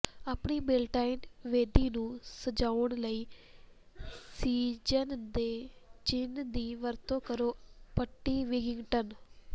ਆਪਣੀ ਬੇਲਟਾਈਨ ਵੇਦੀ ਨੂੰ ਸਜਾਉਣ ਲਈ ਸੀਜ਼ਨ ਦੇ ਚਿੰਨ੍ਹ ਦੀ ਵਰਤੋਂ ਕਰੋ ਪੱਟੀ ਵਿੱਗਿੰਗਟਨ